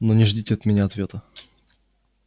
но не ждите от меня ответа